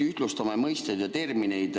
Ühtlustame mõisteid ja termineid.